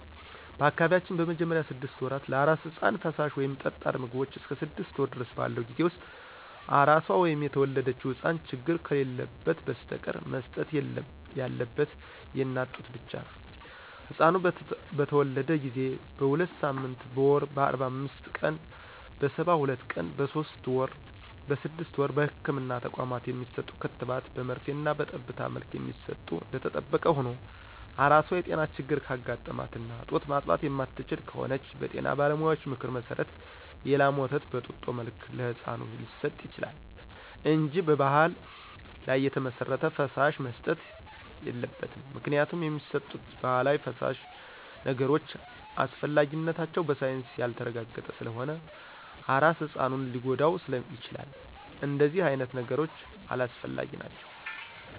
በአካባቢያችን በመጀመሪያ ስድስት ወራት ለአራስ ህጻን ፈሳሽ ወይም ጠጣር ምግቦቾ እስከ ስድስት ወር ድረስ ባለው ጊዜ ውስጥ አራሷ ወይም የተወለደው ህጻን ችግር ከሌለበት በስተቀር መሰጠት ያለበት የእናት ጡት ብቻ ነው። ህጻኑ በተተወለደ ጊዜ: በሁለትሳምንት: በወር :በአርባአምስት ቀን :በሰባሁለት ቀን በሶስት ወር: በስድስት ወር በህክምና ተቋማት የሚሰጡ ክትባት በመርፌና በጠብታ መልክ የሚሰጡ እደተጠበቀ ሁኖ አራሷ የጤና ችግር ካጋጠማትና ጡት ማጥባት የማትችል ከሆነች በጤና ባለሙያዎች ምክር መሰረት የላም ወተት በጡጦ መልክ ለህጻኑ ሊሰጥ ይችላል እንጂ በባህል ላይ የተመሰረተ ፈሳሽ መሰጠት የለበትም ምክንያቱም የሚሰጡት ባህላዊ ፈሳሽ ነገሮች አስፈላጊነታቸው በሳይንስ ያልተረጋገጠ ስለሆነ አራስ ህጻኑን ሊጎዳው ይችላል እደነዚህ አይነት ነገሮች አላስፈላጊ ናቸው።